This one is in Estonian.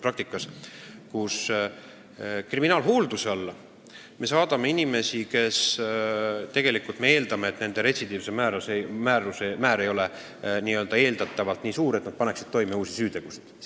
Me saadame kriminaalhoolduse alla inimesi, kelle puhul me eeldame, et nende retsidiivsus ei ole nii suur, et nad panevad toime uusi süütegusid.